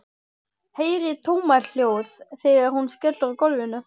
Heyri tómahljóð þegar hún skellur á gólfinu.